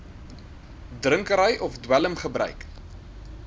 drinkery of dwelmgebruik